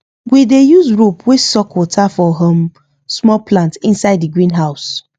we use rope wey suck water for um small plant inside di greenhouse